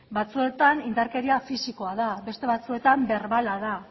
batzuetan indarkeria fisikoa da beste batzuetan berbala da